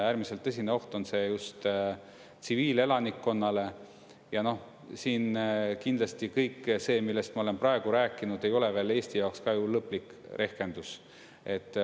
Äärmiselt tõsine oht on see just tsiviilelanikkonnale ja siin kindlasti kõik see, millest ma olen praegu rääkinud, ei ole veel Eesti jaoks ka ju lõplik rehkendus.